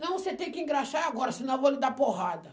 Não, você tem que engraxar agora, senão eu vou lhe dar porrada.